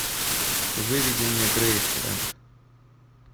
выведи мне грейсленд